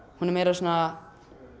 hún er meira svona